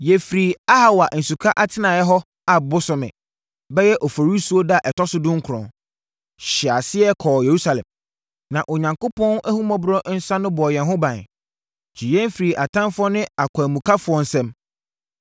Yɛfirii Ahawa Nsuka atenaeɛ hɔ Ab bosome (bɛyɛ Oforisuo) da a ɛtɔ so dunkron, hyɛɛ aseɛ kɔɔ Yerusalem. Na Onyankopɔn ahummɔborɔ nsa no bɔɔ yɛn ho ban, gyee yɛn firii atamfoɔ ne akwanmukafoɔ nsam.